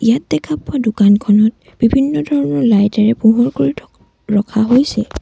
ইয়াত দেখা পোৱা দোকানখনত বিভিন্ন ধৰণৰ লাইটে এৰে পোহৰ কৰি ৰখা হৈছে।